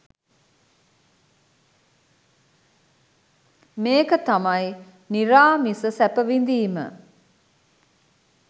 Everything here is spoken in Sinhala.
මේක තමයි නිරාමිස සැප විඳීම